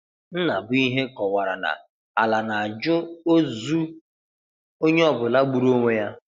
Nnabuihe kọwara na Ala na-ajụ ọzụ ọnyeọbụla gbụrụ ọnwe ya.